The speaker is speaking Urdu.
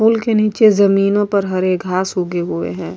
پھول کے نیچے جمینو پر ہرے گھاس اگے ہوئے ہے۔